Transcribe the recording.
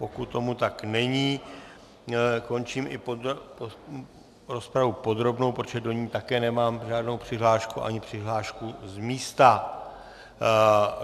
Pokud tomu tak není, končím i rozpravu podrobnou, protože do ní také nemám žádnou přihlášku, ani přihlášku z místa.